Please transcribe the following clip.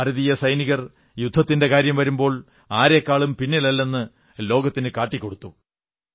ഭാരതീയ സൈനികർ യുദ്ധത്തിന്റെ കാര്യം വരുമ്പോൾ ആരെക്കാളും പിന്നിലല്ലെന്ന് ലോകത്തിനു കാട്ടിക്കൊടുത്തു